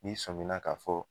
N'i sɔmina ka fɔ